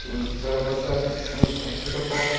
сарабанда сможешь там кто-то па